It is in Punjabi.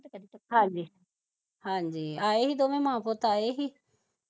ਹਾਂਜੀ ਆਏ ਹੀ ਦੋਵੇ ਮਾਂ ਪੁੱਤ ਆਏ ਹੀ